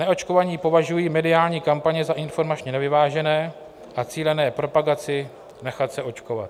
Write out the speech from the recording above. Neočkovaní považují mediální kampaně za informačně nevyvážené a cílené propagaci nechat se očkovat.